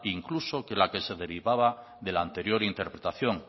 incluso que la que se derivada de la anterior interpretación